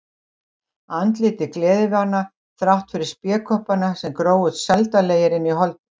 Andlitið gleðivana þrátt fyrir spékoppana sem grófust sældarlegir inn í holdið.